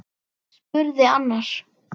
spurði annar.